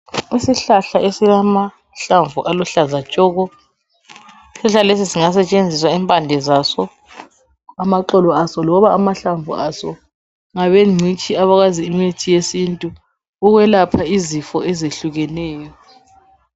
Isihlahla esilamahlamvu aluhlaza tshoko, isihlahla lesi singasetshenziswa impande zaso, amaxolo aso loba amahlamvu aso ngabengcitshi abakwazi imithi yesintu ukwelapha izifo ezehlukeneyo.